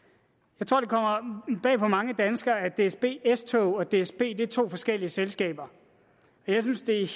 jeg tror det kommer bag på mange danskere at dsb s tog og dsb er to forskellige selskaber og jeg synes det er